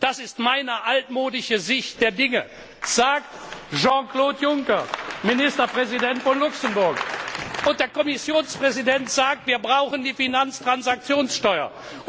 Das ist meine altmodische Sicht der Dinge. sagt Jean Claude Juncker, Ministerpräsident von Luxemburg! Und der Kommissionspräsident sagt Wir brauchen die Finanztransaktionssteuer.